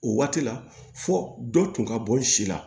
O waati la fo dɔ tun ka bɔ n si la